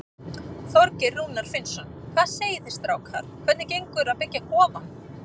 Þorgeir Rúnar Finnsson: Hvað segið þið strákar, hvernig gengur að byggja kofann?